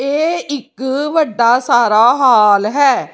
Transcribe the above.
ਇਹ ਇੱਕ ਵੱਡਾ ਸਾਰਾ ਹਾਲ ਹੈ।